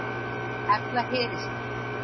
Efla heri sína